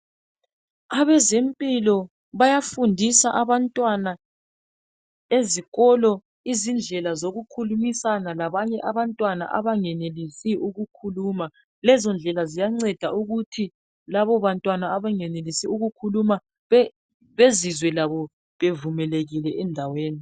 Abezempilo bayafundiswa abantwana ezikolo izindlela zokukhulumisana labanye abantwana abangenelisiyo ukukhuluma lezo ndlela ziyanceda ukuthi abantwana abengenelisi ukukhuluma bezizwe labo bevumelekile endaweni